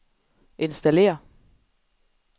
installér